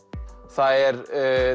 það er